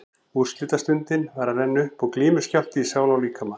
Úrslitastundin var að renna upp og glímuskjálfti í sál og líkama.